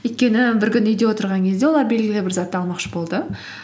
өйткені бір күні үйде отырған кезде олар белгілі бір затты алмақшы болды